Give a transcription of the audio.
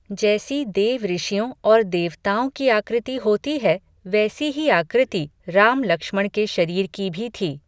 जैसी देवऋषियों और देवताओं की आकृति होती है, वैसी ही आकृति राम लक्ष्मण के शरीर की भी थी।